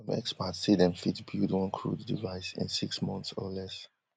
some experts say dem fit build one crude device in six months or less